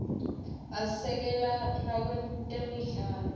asekela nakwetemidlalo